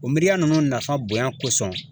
O miiriya nunnu nafa bonya kosɔn.